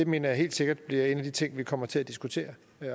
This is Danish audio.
mener jeg helt sikkert bliver en af de ting vi kommer til at diskutere